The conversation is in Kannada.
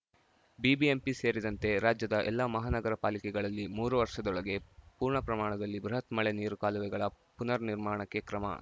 ಬಿಬಿಎಂಪಿ ಸೇರಿದಂತೆ ರಾಜ್ಯದ ಎಲ್ಲಾ ಮಹಾನಗರ ಪಾಲಿಕೆಗಳಲ್ಲಿ ಮೂರು ವರ್ಷದೊಳಗೆ ಪೂರ್ಣ ಪ್ರಮಾಣದಲ್ಲಿ ಬೃಹತ್‌ ಮಳೆ ನೀರು ಕಾಲುವೆಗಳ ಪುನರ್‌ ನಿರ್ಮಾಣಕ್ಕೆ ಕ್ರಮ